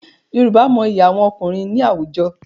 Yorùbá mọyi àwọn ọkùnrin ní àwùjọ.